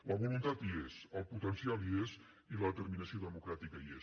la voluntat hi és el potencial hi és i la determinació democràtica hi és